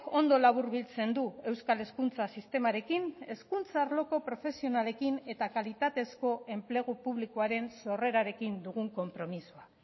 ondo laburbiltzen du euskal hezkuntza sistemarekin hezkuntza arloko profesionalekin eta kalitatezko enplegu publikoaren sorrerarekin dugun konpromisoa